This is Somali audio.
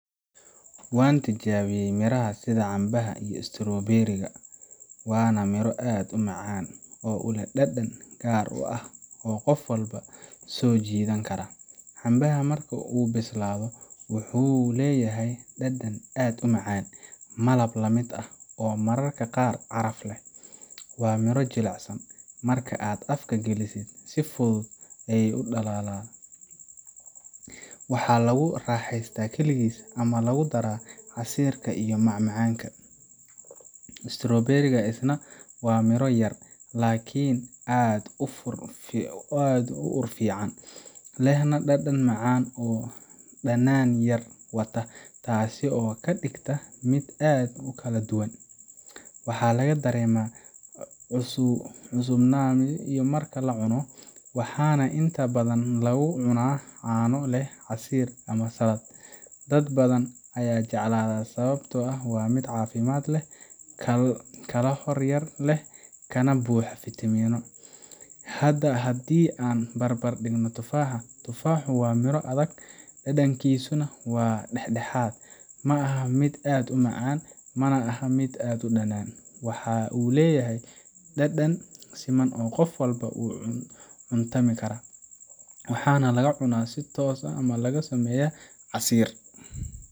waan tijaabiyay miraha sida cambaha iyo strawberry ga, waana miro aad u macaan oo leh dhadhan gaar u ah oo qof walba soo jiidan kara. Cambaha marka uu bislaado wuxuu leeyahay dhadhan aad u macaan, malab la mid ah, oo mararka qaar caraf leh. Waa miro jilicsan, marka aad afka gelisid si fudud ayuu u dhalaalaa. Waxaa lagu raaxaystaa kaligiis ama lagu daraa casiirka iyo macmacaanka. strawberry ga isna waa miro yaryar, laakiin aad u ur fiican, lehna dhadhan macaan oo dhanaan yar wata taasoo ka dhigta mid aad u kala duwan. Waxaa laga dareemaa cusubaanimo marka la cuno, waxaana inta badan lagu cunaa caano leh, casiir, ama salad. Dad badan ayaa jeclaada sababtoo ah waa mid caafimaad leh, kalori yari leh, kana buuxa fiitamiino. Hadda haddii aan barbar dhigo tufaaxa, tufaaxu waa miro adag, dhadhankiisuna waa dhexdhexaad ma aha mid aad u macaan, mana aha mid aad u dhanaan. Waxa uu leeyahay dhadhan siman oo qof walba u cuntami kara, waxaana lagu cunaa si toos ah ama laga sameeyaa casiir.